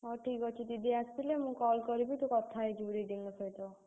ହଁ, ଠିକ୍ ଅଛି। दीदी ଆସିଲେ ମୁଁ call କରିବି ତୁ କଥା ହେଇଯିବୁ दीदी ଙ୍କ ସହିତ।